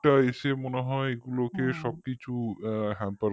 এটা মনে হয় এগুলোকে সবকিছু hamper করে দিয়েছে